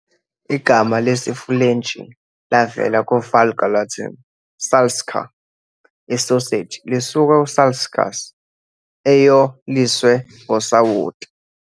Igama lesiFulentshi lavela ku-Vulgar Latin "salsica", "isoseji", lisuka ku- "salsicus", "eyoliswe ngosawoti".